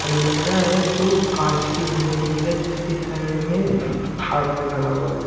अलमेरा हैजो कांच की बनी हुई है जिसके साइड में आदमी खड़ा हुआ है।